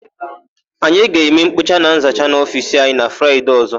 Anyị ga-eme nkpocha na nzacha n'ofiisi anyị na Fraịde ọ̀zọ́.